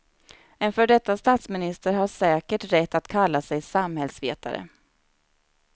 En före detta statsminister har säkert rätt att kalla sig samhällsvetare.